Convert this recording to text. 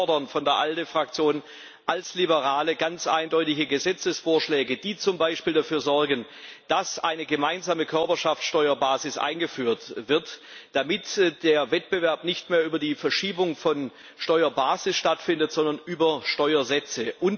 Und wir von der ALDE Fraktion als Liberale fordern ganz eindeutige Gesetzesvorschläge, die zum Beispiel dafür sorgen, dass eine gemeinsame Körperschaftsteuerbasis eingeführt wird, damit der Wettbewerb nicht mehr über die Verschiebung der Steuerbasis stattfindet, sondern über Steuersätze.